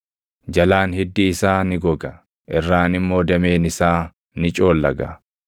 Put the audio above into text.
Jalaan hiddi isaa ni goga; irraan immoo dameen isaa ni coollaga.